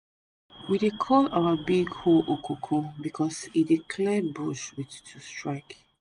we dey call our big hoe okoko because e dey clear bush with two strke